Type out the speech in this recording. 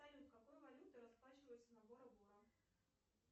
салют какой валютой расплачиваются на бора бора